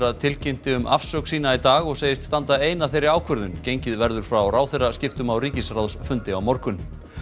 tilkynnti um afsögn sína í dag og segist standa ein að þeirri ákvörðun gengið verður frá ráðherraskiptum á ríkisráðsfundi á morgun